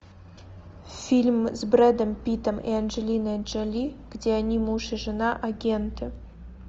фильм с бредом питом и анджелиной джоли где они муж и жена агенты